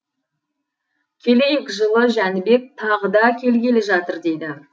келейік жылы жәнібек тағы да келгелі жатыр дейді